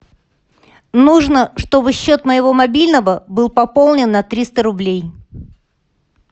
нужно чтобы счет моего мобильного был пополнен на триста рублей